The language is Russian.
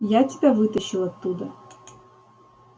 я тебя вытащил оттуда